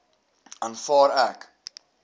aanvaar ek